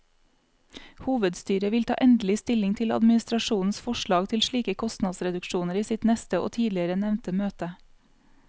Hovedstyret vil ta endelig stilling til administrasjonens forslag til slike kostnadsreduksjoner i sitt neste og tidligere nevnte møte.